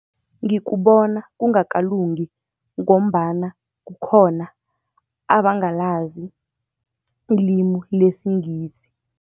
Ngikubona kungakalungi, ngombana kukhona abangalazi ilimi lesiNgisi.